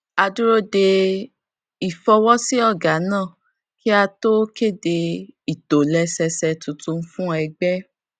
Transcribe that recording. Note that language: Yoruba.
a dúró de ìfọwọsí ọgá náà kí a tó kéde ìtòlẹsẹẹsẹ tuntun fún ẹgbẹ